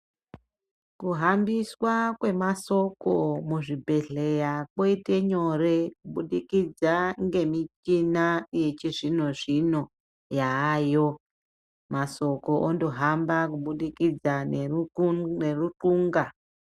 Kuhambiswa kwemasoko muchibhehleya koita nyore kubudikidza ngemuchina yechizvino zvino yayo masoko ondohamba kubudikidza ngeru nerunxu nerunxunga .